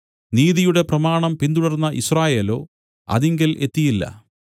നീതിയുടെ പ്രമാണം പിന്തുടർന്ന യിസ്രായേലോ അതിങ്കൽ എത്തിയില്ല